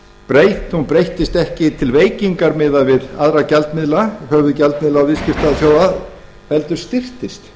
veraldar hún breyttist ekki til veikingar miðað við aðra gjaldmiðla höfuðgjaldmiðla viðskiptaþjóða heldur styrktist